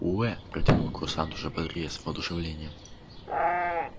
уэээ протянул курсант уже бодрее с воодушевлением